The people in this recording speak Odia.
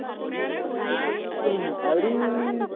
ଆହୁରି